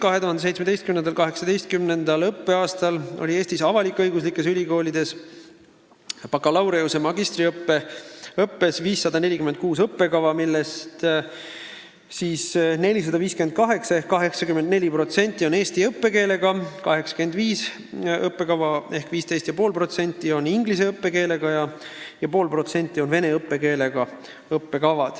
2017/18. õppeaastal on Eesti avalik-õiguslikes ülikoolides bakalaureuse- ja magistriõppes 546 õppekava, millest 458 ehk 84% on eesti õppekeelega, 85 õppekava ehk 15,5% on inglise õppekeelega ja 0,5% on vene õppekeelega.